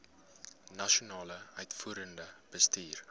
nasionale uitvoerende bestuur